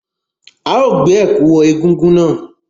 A ó gbé ẹ̀kú wọ egúngún náà.